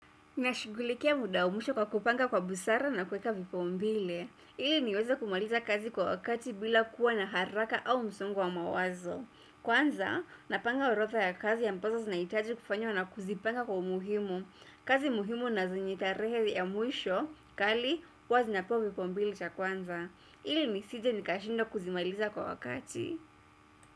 Na shugulikia muda wa mwisho kwa kupanga kwa busara na kuweka vipaombile. Ili niweza kumaliza kazi kwa wakati bila kuwa na haraka au msongo wa mawazo. Kwanza, napanga orotha ya kazi ya ambazo zinahitaji kufanywa na kuzipanga kwa umuhimu. Kazi muhimu nazenye tarehe ya mwisho, kali, huwa zinapewa vipaombile cha kwanza. Ili nisije nikashindwa kuzimaliza kwa wakati.